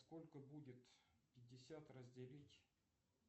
сколько будет пятьдесят разделить